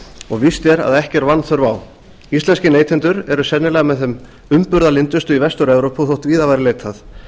og víst er að ekki er vanþörf á íslenskir neytendur eru sennilega með þeim umburðarlyndustu í vestur evrópu og þótt víðar væri leitað